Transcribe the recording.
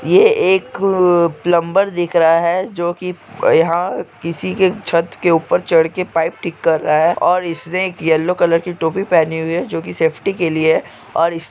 एक प्रलंब दिख रहा है जो कि यहां किसी के छठ के ऊपर चढ़कर पाइप ठीक कर रहा है और इसने की केलो कलर की टोपी पहनी हुई है जो की सेफ्टी के लिए--